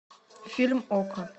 фильм окко